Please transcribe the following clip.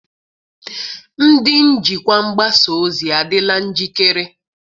Ndị njikwa mgbasa ozi adịla njikere?